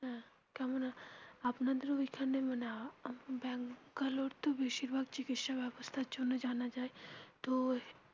কেমনা আছেন আপনাদের ঐখানে মানে আহ ব্যাঙ্গালোর তো বেশিরভাগ চিকিৎসা ব্যাবস্থার জন্য জানা যায় তো.